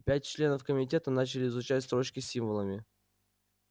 пять членов комитета начали изучать строчки с символами